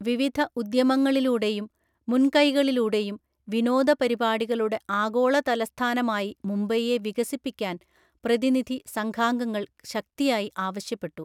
വിവിധ ഉദ്യമങ്ങളിലൂടെയും, മുൻകൈകളിലൂടെയും വിനോദ പരിപാടികളുടെ ആഗോളതലസ്ഥാനമായി മുംബൈയെ വികസിപ്പിക്കാന്‍ പ്രതിനിധി സംഘാംഗങ്ങള്‍ ശക്തിയായി ആവശ്യപ്പെട്ടു.